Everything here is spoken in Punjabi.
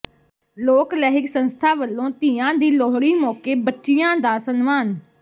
ਲੋਕ ਲਹਿਰ ਸੰਸਥਾ ਵੱਲੋਂ ਧੀਆਂ ਦੀ ਲੋਹੜੀ ਮੌਕੇ ਬੱਚੀਆਂ ਦਾ ਸਨਮਾਨ